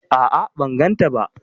A'a ban gan ta ba